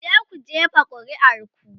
"kuje ku jefa ƙuri'ar ku!